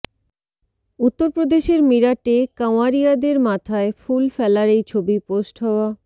উত্তরপ্রদেশের মিরাটে কাঁওয়ারিয়াদের মাথায় ফুল ফেলার এই ছবি পোস্ট হওয়া